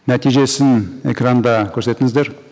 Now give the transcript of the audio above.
нәтижесін экранда көрсетіңіздер